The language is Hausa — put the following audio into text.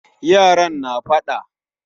Yaran na faɗa